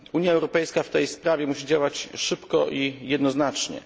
Unia Europejska musi w tej sprawie działać szybko i jednoznacznie.